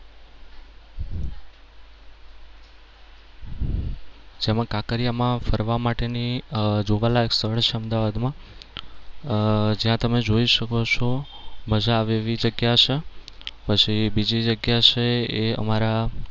જેમાં કાંકરિયામાં ફરવા માટેની જોવાલાયક સ્થળ છે અમદાવાદમાં અમ જ્યાં તમે જોઈ શકો છો. મજા આવે એવી જગ્યા છે. પછી બીજી જગ્યા જે છે એ અમારા